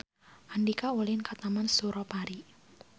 Andika ulin ka Taman Suropari